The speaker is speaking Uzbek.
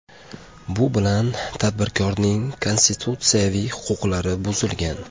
Bu bilan tadbirkorning konstitutsiyaviy huquqlari buzilgan.